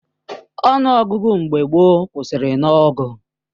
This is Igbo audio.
Ọnụ ọgụgụ mgbe gboo kwụsịrị nah ọgụ